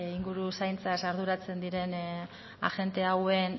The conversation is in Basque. inguru zaintzat arduratzen diren agente hauen